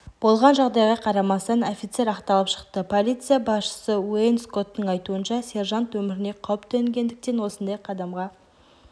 болған жағдайға қарамастан офицер ақталып шықты полиция басшысыуэйн скоттың айтуынша сержант өміріне қауіп төнгендіктен осындай қадамға